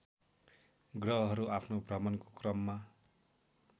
ग्रहहरू आफ्नो भ्रमणको क्रममा